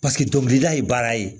Paseke dɔnkilida ye baara ye